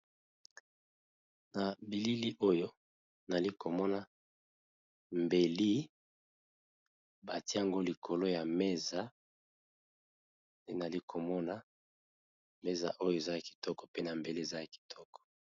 Na bilili Oyo bazali komona ba tier mbeli eaa likolo ya mesa